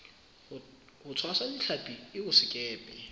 ho tshwasa ditlhapi eo sekepe